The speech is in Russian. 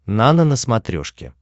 нано на смотрешке